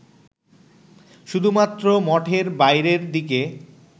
শুধুমাত্র মঠের বাইরের দিকে